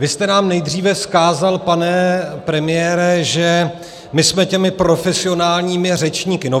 Vy jste nám nejdříve vzkázal, pane premiére, že my jsme těmi profesionálními řečníky.